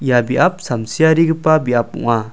ia biap samsiarigipa biap ong·a.